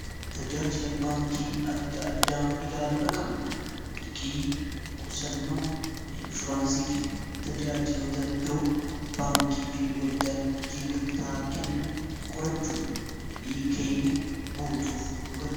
tajaajila baankii adda addaa ilaaluudha qabna liqii qusannoo inshuraansii fi tajaajilota biroo baankii fi waldaan hojii gamtaa kennan qorachuun fedhii keenya guutuuf nu gargra.